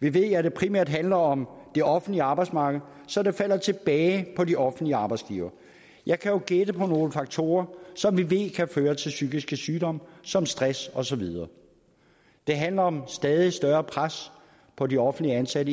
vi ved at det primært handler om det offentlige arbejdsmarked så det falder tilbage på de offentlige arbejdsgivere jeg kan jo gætte på nogle faktorer som vi ved kan føre til psykiske sygdomme som stress og så videre det handler om stadig større pres på de offentligt ansatte